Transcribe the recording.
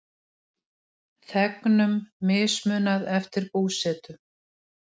Þegnum mismunað eftir búsetu